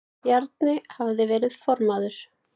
Bjarni hafði verið formaður